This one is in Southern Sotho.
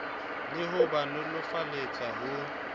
le ho ba nolofaletsa ho